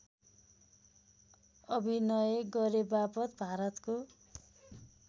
अभिनय गरेबापत भारतको